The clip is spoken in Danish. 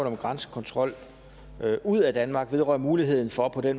om grænsekontrol ud af danmark vedrører muligheden for at